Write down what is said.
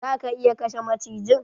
Za ka iya kashe macijin?